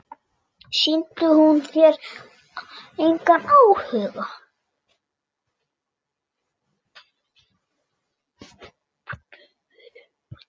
Sýndi hún þér engan áhuga?